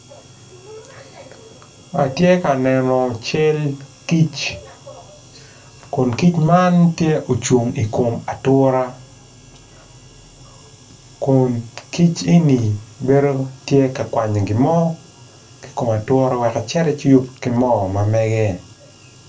Atye ka neno cal kic kun kic man tye ocung ature kun kic eni bedo calo tye ka kwanyo gin mo ki i kome ature wek ecit eciyub ki gin mo ma mege.